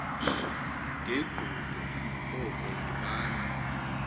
ngegqudu koko yibani